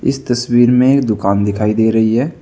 इस तस्वीर में एक दुकान दिखाई दे रही है।